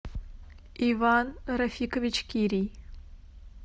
иван рафикович кирий